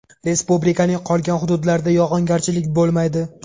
Respublikaning qolgan hududlarida yog‘ingarchilik bo‘lmaydi.